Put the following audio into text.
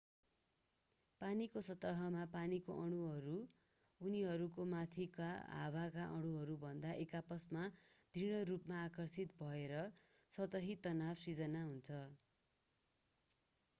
पानीको सतहमा पानीका अणुहरू उनीहरूको माथिका हावाका अणुहरूभन्दा एक आपसमा दृढ रूपमा आकर्षित भएर सतही तनाव सृजना हुन्छ